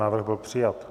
Návrh byl přijat.